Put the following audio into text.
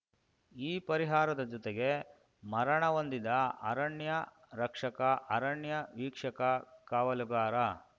ಈ ಪರಿಹಾರದ ಜೊತೆಗೆ ಮರಣ ಹೊಂದಿದ ಅರಣ್ಯ ರಕ್ಷಕ ಅರಣ್ಯ ವೀಕ್ಷಕ ಕಾವಲುಗಾರ